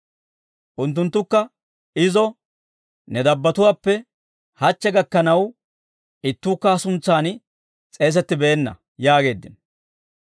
Unttunttukka izo, «Ne dabbatuwaappe hachche gakkanaw ittuukka ha suntsaan s'eesettibeenna» yaageeddino.